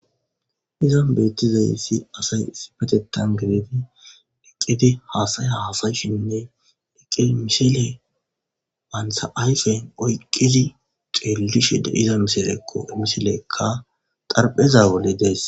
Izon beettizayssi asay sipetetan gideti eqqede haasaya haasayshinne eqqe misile wantha ayfen oyqqizi xeelishe de iza miselekko emiseleekka xarpheza wole dees